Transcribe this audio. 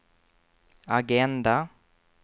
agenda